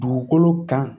Dugukolo kan